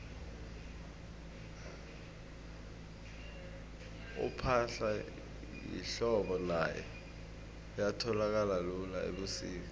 ipahla yehlobo nayo ayitholakali lula ubusika